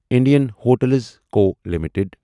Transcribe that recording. Indian hotels co limited